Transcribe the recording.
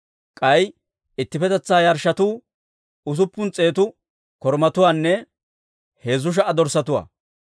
K'ay ittippetetsaa yarshshotuu usuppun s'eetu korumatuwaanne heezzu sha"a dorssatuwaa.